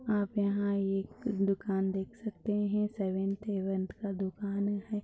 आप यहाँ एक दुकान देख सकते हैं सेवेनत हेवन का दुकान है।